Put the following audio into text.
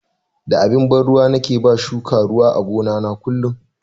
Da abin ban ruwa nake ba shuka ruwa a gona na kullun.